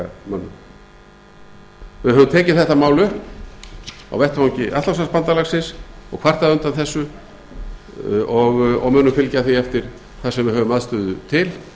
hryðjuverkamönnum við höfum tekið þetta mál upp á vettvangi atlantshafsbandalagsins og kvartað undan þessu og munum fylgja því eftir þar sem við höfum aðstöðu til